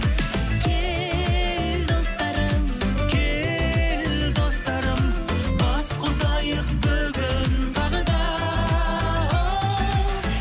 кел достарым кел достарым бас қосайық бүгін тағы да